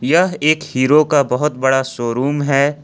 यह एक हीरो का बहुत बड़ा शोरूम है।